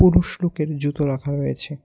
পুরুষ লোকের জুতো রাখা রয়েছে।